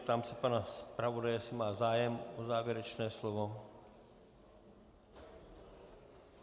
Ptám se pana zpravodaje, jestli má zájem o závěrečné slovo.